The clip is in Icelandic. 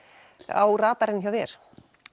á radarinn hjá þér